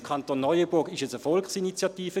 Im Kanton Neuenburg war es eine Volksinitiative.